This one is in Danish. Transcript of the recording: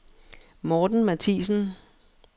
Morten Mathiesen